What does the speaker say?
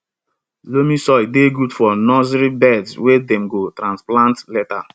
loamy soil dey good for nursery beds wey dem go transplant later